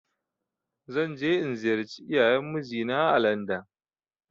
Zan je in ziyarci iyayen mijinaa ã landon.